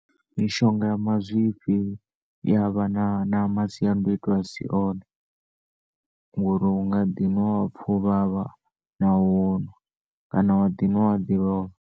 Mishonga ya mazwifhi iya vha na na masiandoitwa asi one ngori unga ḓi nwa wapfa u vhavha nahone kana wa ḓi nwa wa ḓi lovha.